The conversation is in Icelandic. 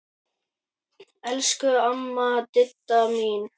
Elsku amma Didda mín.